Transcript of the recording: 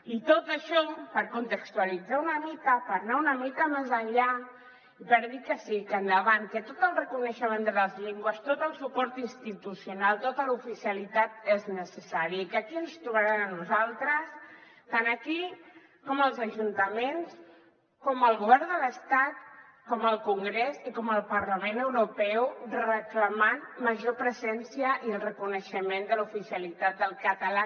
i tot això per contextualitzar una mica per anar una mica més enllà i per dir que sí que endavant que tot el reconeixement de les llengües tot el suport institucional tota l’oficialitat són necessaris i que aquí ens hi trobaran a nosaltres tant aquí com als ajuntaments al govern de l’estat al congrés i al parlament europeu reclamant major presència i el reconeixement de l’oficialitat del català